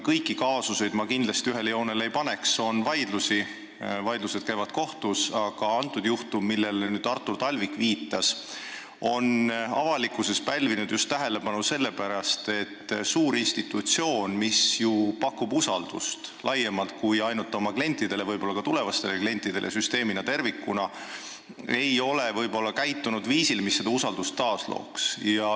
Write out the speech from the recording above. Kõiki kaasuseid ma kindlasti ühele joonele ei paneks, on vaidlusi, need käivad kohtus, aga see juhtum, millele Artur Talvik viitas, on avalikkuses pälvinud tähelepanu just selle pärast, et suur institutsioon, mis pakub usaldust laiemalt kui ainult oma klientidele, võib-olla ka tulevastele klientidele, süsteemina tervikuna, ei ole võib-olla käitunud viisil, mis seda usaldust taaslooks.